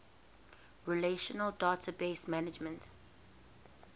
relational database management